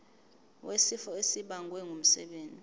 wesifo esibagwe ngumsebenzi